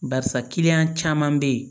Barisa caman be yen